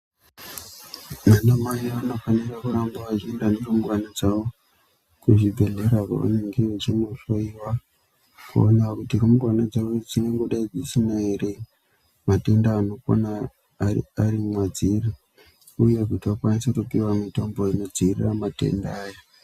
Vana mai vano fanira kuramba vachi enda ne rumbwana dzavo ku zvi bhedhlera kwa vanege vechino hloyiwa kuona kuti rumbwana dzavo dzinongo dai dzisina ere ma tenda anokona ari mwadziri uye kuti vakwanise kupihwa mitombo ino dzivirira matenda aya.